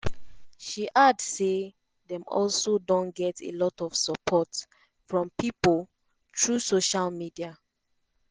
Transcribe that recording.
she add say dem also don get a lot of support from pipo through social media.